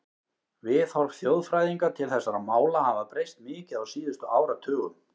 Viðhorf þjóðfræðinga til þessara mála hafa breyst mikið á síðustu áratugum.